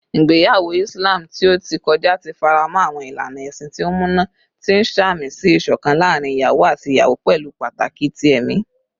Igbeyawo Islam ti o ti kọja ti faramọ awọn ilana ẹsin ti o muna, ti n samisi iṣọkan laarin iyawo ati iyawo pẹlu pataki ti ẹmi.